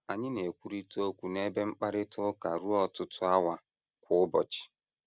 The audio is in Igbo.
Anyị na - ekwurịta okwu n’ebe mkparịta ụka ruo ọtụtụ awa kwa ụbọchị.